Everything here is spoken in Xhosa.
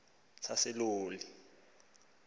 saseloli